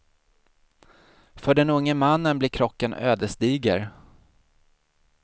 För den unge mannen blir krocken ödesdiger.